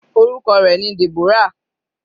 Orúkọ rẹ̀ ni Deborah.